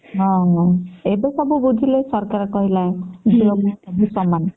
ହଁ ହଁ ଏବେ ସବୁ ବୁଝିଲେ ସରକାର କହିଲାନି ଝିଅ ପୁଅ ସବୁ ସମାନ